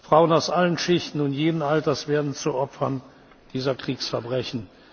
gefoltert. Frauen aus allen Schichten und jeden Alters werden zu Opfern dieser Kriegsverbrechen.